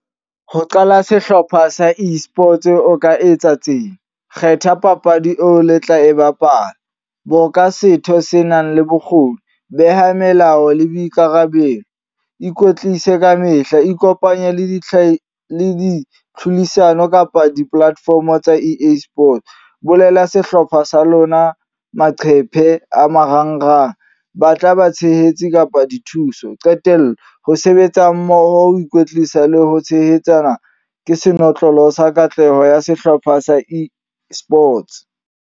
Ho qala sehlopha sa e-Sports o ka etsa tsena, kgetha papadi eo le tla e bapala, bo ka setho se nang le bokgoni, beha melao le boikarabelo, ikwetlise ka mehla, ikopanye le di tlhodisano kapa di-platform tsa E_A-sport. Bulela sehlopha sa lona maqhephe a marangrang. Ba tla ba tshehetse kapa dithuso. Qetello, ho sebetsa mmoho, ho ikwetlisa le ho tshehetsana ke senotlolo sa katleho ya sehlopha sa e-Sports.